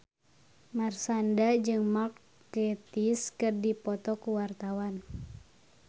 Marshanda jeung Mark Gatiss keur dipoto ku wartawan